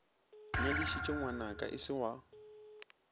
nyadišitše ngwanaka o se wa